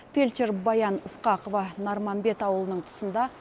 фельдшер баян ысқақова нарманбет ауылының тұсында